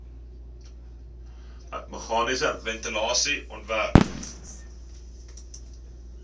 meganiese ventilasie ontwerp